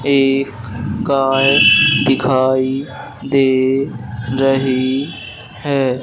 एक काय दिखाई दे रही है।